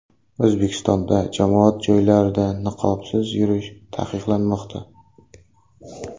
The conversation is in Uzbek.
O‘zbekistonda jamoat joylarida niqobsiz yurish taqiqlanmoqda.